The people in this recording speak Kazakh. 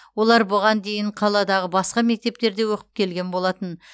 олар бұған дейін қаладағы басқа мектептерде оқып келген болатын